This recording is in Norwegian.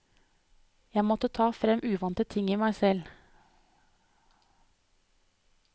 Jeg måtte ta frem uvante ting i meg selv.